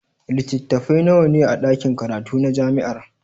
Littattafai nawa ne a ɗakin karatu na jami'ar?